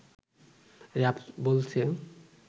RAB বলছে